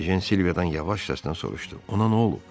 Ejen Silviadan yavaş səslə soruşdu, ona nə olub?